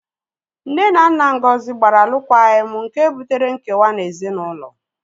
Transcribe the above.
Nne na nna Ngozi gbara alụkwaghịm nke butere nkewa na ezinaụlọ